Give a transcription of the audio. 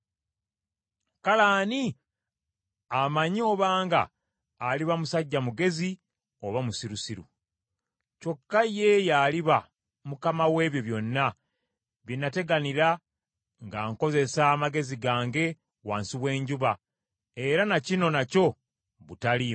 Kale ani amanyi obanga aliba musajja mugezi oba musirusiru? Kyokka ye y’aliba mukama w’ebyo byonna bye nateganira nga nkozesa amagezi gange wansi w’enjuba; era na kino nakyo butaliimu.